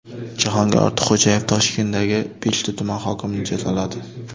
Jahongir Ortiqxo‘jayev Toshkentdagi beshta tuman hokimini jazoladi.